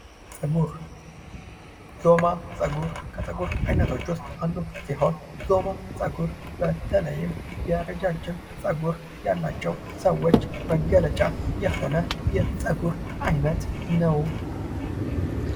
ፀጉር ዞማ ፀጉር ከፀጉር አይነቶች ውስጥ አንዱ ሲሆን ዞማ ፀጉር በተለይም የረጃጅም ፀጉር ያላቸው ሰዎች መገለጫ የሆነ የፀጉር አይነት ነው።